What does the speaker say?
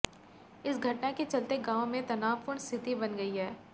इस घटना के चलते गांव में तनावपूर्ण स्थिति बन गई है